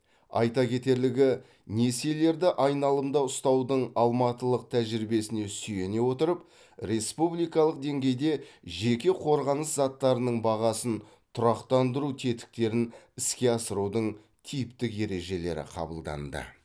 айта кетерлігі несиелерді айналымда ұстаудың алматылық тәжірибесіне сүйене отырып республикалық деңгейде жеке қорғаныс заттарының бағасын тұрақтандыру тетіктерін іске асырудың типтік ережелері қабылданды